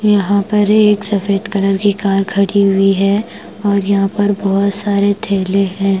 यहां पर एक सफेद कलर की कार खड़ी हुई है और यहां पर बहुत सारे थैले हैं।